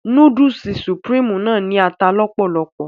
Núdúùsù Supreme náà ní ata lọ́pọ̀lopọ̀